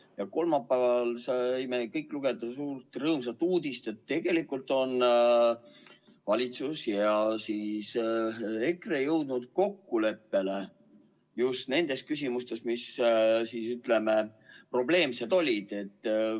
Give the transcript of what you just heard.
Ja kolmapäeval saime kõik lugeda suurt rõõmsat uudist, et tegelikult on valitsus ja EKRE jõudnud kokkuleppele nendes küsimustes, mis, ütleme, probleemsed olid.